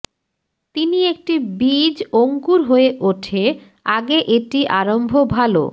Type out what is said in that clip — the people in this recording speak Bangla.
তিনি একটি বীজ অঙ্কুর হয়ে ওঠে আগে এটি আরম্ভ ভাল